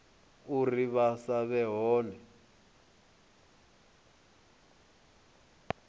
uri vha sa vhe hone